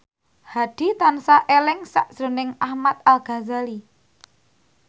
Hadi tansah eling sakjroning Ahmad Al Ghazali